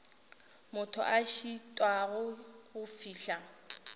motho a šitwago go fihla